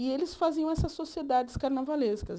E eles faziam essas sociedades carnavalescas.